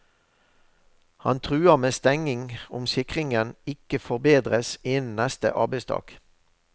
Han truer med stenging om sikringen ikke forbedres innen neste arbeidsdag.